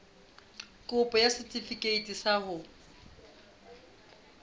kopo ya setefikeiti sa ho